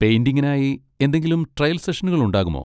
പെയിന്റിംഗിനായി എന്തെങ്കിലും ട്രയൽ സെഷനുകൾ ഉണ്ടാകുമോ?